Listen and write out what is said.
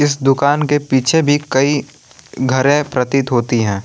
इस दुकान के पीछे भी कई घरे प्रतीत होती है।